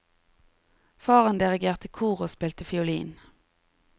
Faren dirigerte kor og spilte fiolin.